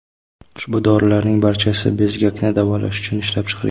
Ushbu dorilarning barchasi bezgakni davolash uchun ishlab chiqilgan.